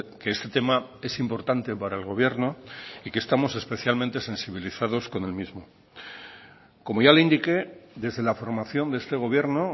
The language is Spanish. que este tema es importante para el gobierno y que estamos especialmente sensibilizados con el mismo como ya le indique desde la formación de este gobierno